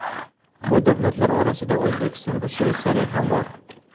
Bu davlatlar orasida O‘zbekiston va Shveysariya ham bor.